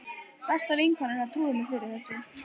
Besta vinkona hennar trúði mér fyrir þessu.